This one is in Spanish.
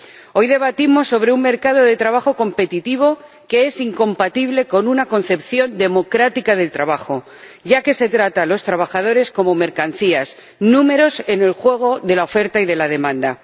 Hoy debatimos sobre un mercado de trabajo competitivo que es incompatible con una concepción democrática del trabajo, ya que se trata a los trabajadores como mercancías, números en el juego de la oferta y de la demanda.